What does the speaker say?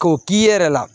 K'o k'i yɛrɛ la